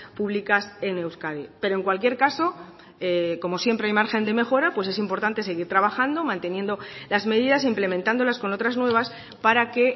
públicas en euskadi pero en cualquier caso como siempre hay margen de mejora pues es importante seguir trabajando manteniendo las medidas implementándolas con otras nuevas para que